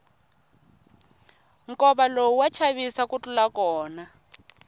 nkova lowu wa chavisa ku tlula kona